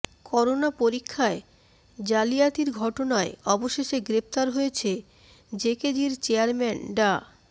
corona পরীক্ষায় জাতিয়াতির ঘটনায় অবশেষে গ্রেফতার হয়েছেন জেকেজির চেয়ারম্যান ডা